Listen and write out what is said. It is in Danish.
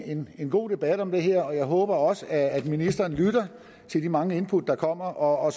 en en god debat om det her og jeg håber også at ministeren lytter til de mange input der kommer og